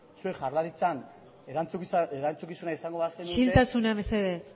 zuek jaurlaritzan erantzukizuna izango bazenute isiltasuna mesedez